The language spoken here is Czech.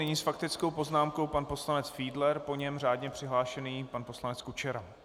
Nyní s faktickou poznámkou pan poslanec Fiedler, po něm řádně přihlášený pan poslanec Kučera.